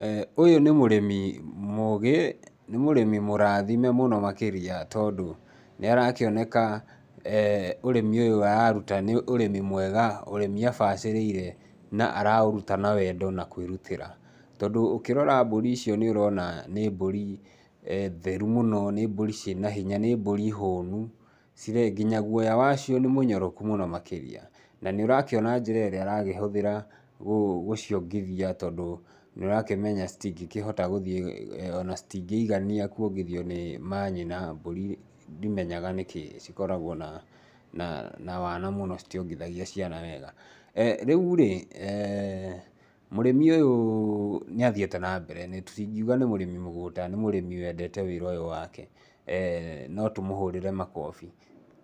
Ũyũ nĩ mũrĩmi mũgĩ, nĩ mũrĩmi mũrathime makĩria tondũ nĩarakĩoneka ũrĩmi ũyũ araruta nĩ ũrĩmi mwega, ũrĩmi abacĩrĩire na araũruta na wendo na kwĩrutĩra, tondũ ũkĩrora mbũri icio nĩ ũrona nĩ mbũri theru mũno, nĩ mbũri cĩana hinya nĩ mbũri hũũnu, nginya guoya wacio nĩ mũnyoroku makĩrĩa na nĩ ũrakĩona njĩra ĩrĩa arakĩhũthĩra gũciongithia tondũ nĩũrakimenya citingĩigana kuongithio nĩ manyina tondũ ndimenyaga mbũri cikoragwo na wana mũno citiongithagia ciana wega. Rĩurĩ mũrĩmi ũyũ nĩathĩĩte na mbere, tũtingiuga nĩ mũrĩmi mũgũta, nĩ mũrĩmi wendete wĩra ũyũ wake, no tũmũhũrĩre makobi.